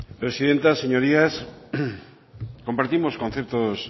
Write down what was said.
presidenta señorías compartimos conceptos